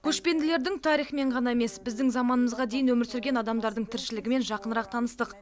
көшпенділердің тарихымен ғана емес біздің заманымызға дейін өмір сүрген адамдардың тіршілігімен жақынырақ таныстық